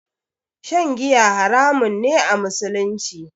Shan giya haramun ne a musulunci